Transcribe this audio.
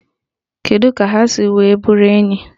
Kedụ ka ha si wee bụrụ enyi?